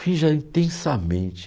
Finja intensamente.